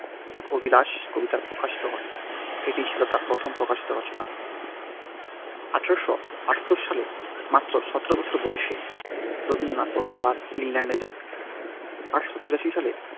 তার অভিলাষ কবিতাটি প্রকাশিত হয়। এটিই ছিল তার প্রথম প্রকাশিত রচনা। এক হাজার আঠারোশো আটাত্তর সালে মাত্র সতেরো বছর বয়সে রবীন্দ্রনাথ প্রথমবার ইংল্যান্ডে যান। এক হাজার আঠারোশো তিরাশি সালে